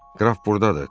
Qraf burdadır.